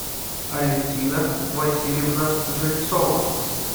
алефтина васильевна жильцова